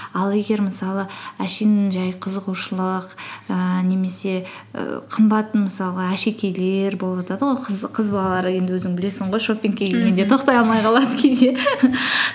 ал егер мысалы әшейін жай қызығушылық ііі немесе і қымбат мысалға әшекейлер болып жатады ғой қыз балалар енді өзің білесің ғой шопингке келгенде тоқтай алмай қалады кейде